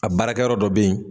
A baarakɛyɔrɔ dɔ bɛ yen